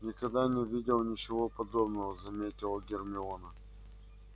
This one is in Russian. никогда не видела ничего подобного заметила гермиона